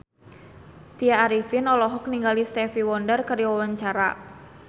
Tya Arifin olohok ningali Stevie Wonder keur diwawancara